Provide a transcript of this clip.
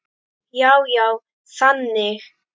Já, já, þannig.